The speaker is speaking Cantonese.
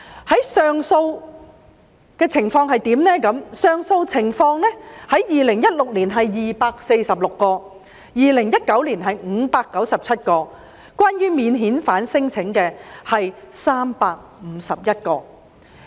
至於上訴許可的情況 ，2016 年是246宗 ，2019 年是597宗，當中關於免遣返聲請的是351宗。